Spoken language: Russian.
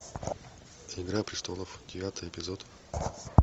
игра престолов девятый эпизод